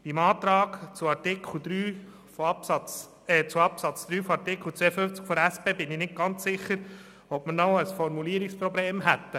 Beim Antrag zu Artikel 52 Absatz 3 der SP bin ich nicht ganz sicher, ob man noch ein Formulierungsproblem hätte.